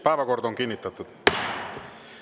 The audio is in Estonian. Päevakord on kinnitatud.